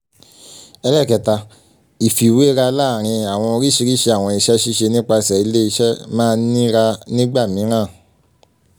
iii) ifiwera laarin awọn oriṣiriṣi awọn iṣẹ ṣiṣe nipasẹ ile-iṣẹ ma nira nigba miiran